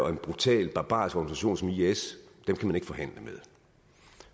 en brutal barbarisk organisation som is kan